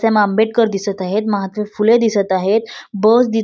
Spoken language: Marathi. सेम आंबेडकर दिसत आहेत महात्मा फुले दिसत आहेत बस दि --